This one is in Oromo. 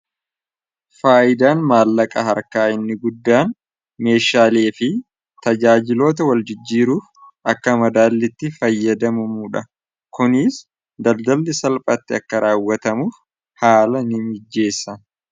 Faayidaan maallaqaa harkaa inni guddaan meeshaalee fi tajaajiloota waljijjiiruuf akka madaallitti fayyadamumuu dha kuniis daldalli salphatti akka raawwatamuuf haala ni mijeessa.